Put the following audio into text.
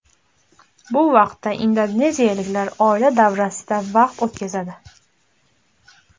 Bu vaqtda indoneziyaliklar oila davrasida vaqt o‘tkazadi.